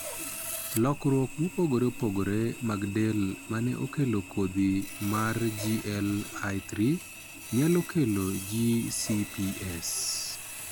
Lokruok mopogore opogore mag del ma ne okelo kodhi mar GLI3 nyalo kelo GCPS.